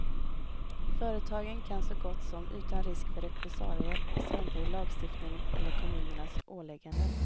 Företagen kan så gott som utan risk för repressalier strunta i lagstiftningen eller kommunernas ålägganden.